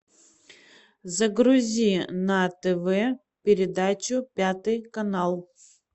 загрузи на тв передачу пятый канал